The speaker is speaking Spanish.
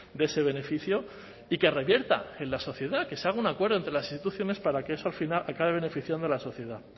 de ese beneficio y que revierta en la sociedad que se haga un acuerdo entre las instituciones para que eso al final acabe beneficiando a la sociedad